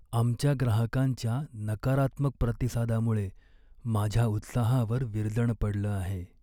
आमच्या ग्राहकांच्या नकारात्मक प्रतिसादामुळे माझ्या उत्साहावर विरजण पडलं आहे.